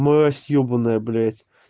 мразь ёбаная блядь